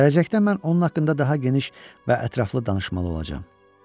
Gələcəkdə mən onun haqqında daha geniş və ətraflı danışmalı olacam.